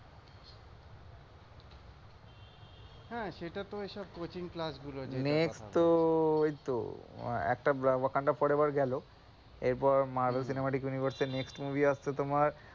হ্যাঁ সেটা তো এসব coaching class গুলোর কথা next তো এই একটা wakanda forever গেলো এরপর মারভেল সিনেমাটিক ইউনিভার্স এর next movie আসছে তোমার,